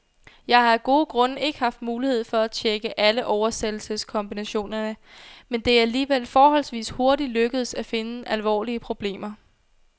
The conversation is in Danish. Jeg har af gode grunde ikke haft mulighed for at tjekke alle oversættelseskombinationerne, men det er alligevel forholdsvis hurtigt lykkedes at finde alvorlige problemer.